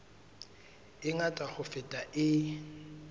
e ngata ho feta e